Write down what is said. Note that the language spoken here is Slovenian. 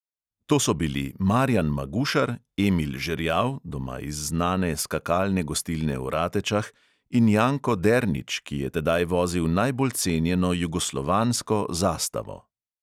To so bili: marjan magušar, emil žerjav (doma iz znane skakalne gostilne v ratečah) in janko dernič, ki je tedaj vozil najbolj cenjeno jugoslovansko zastavo.